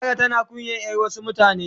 Zara tana kunyan yar Wasu mutane.